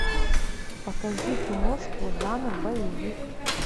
покажи киношку жанр боевик